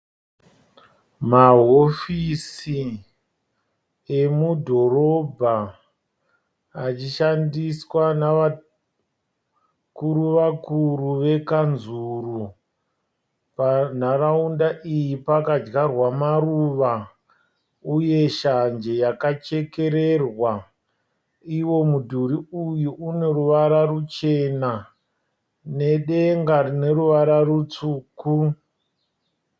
Mahofisi emudhorobha achishandiswa navakuru vakuru vekanzuru. Panharaunda iyi pakadyarwa maruva uye shanje yakachekererwa. Iwo mudhuri uyu une ruvara ruchena nedenga rine ruvara rutsvuku.